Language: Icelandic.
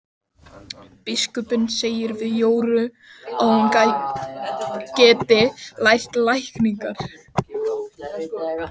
Biskupinn segir við Jóru að hún geti lært lækningar.